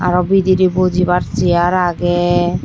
arow bidirey bojibar cheyar agey.